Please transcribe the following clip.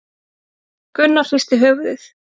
Gunnar hristi höfuðið.